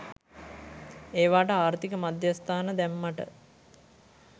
ඒවාට ආර්ථික මධ්‍යස්ථාන දැම්මට